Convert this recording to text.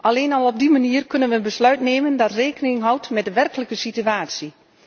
Alleen op die manier kunnen we een besluit nemen dat rekening houdt met de werkelijke situatie.